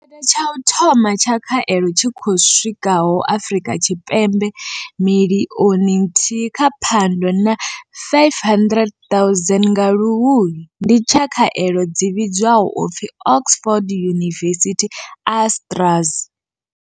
tsha u thoma tsha khaelo tshi khou swikaho Afrika Tshipembe miḽioni nthihi nga Phando na 500 000 nga Luhuhi ndi tsha khaelo dzi vhidzwaho u pfi Oxford University-AstraZ.